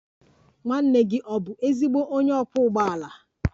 Nwanne gị ọ̀ bụ ezigbo onye ọkwọ ụgbọala?